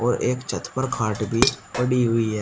और एक छत पर खाट भी पड़ी हुई है।